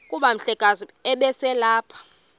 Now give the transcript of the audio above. kuba umhlekazi ubeselelapha